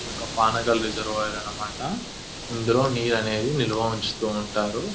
ఇది ఒక పానగల్ రిజర్వాయర్ అన్నమాట ఇందులో నీరు అనేది నిల్వ ఉంచుతూ ఉంటారు --